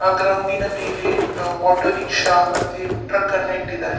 ಆ ಗ್ರೌಂಡ್ ಇನ ಮೇಲೆ ಆಟೋರಿಕ್ಶಾ ಮತ್ತೆ ಟ್ರಕ್ ಅನ್ನ ಇಟ್ಟಿದ್ದಾರೆ .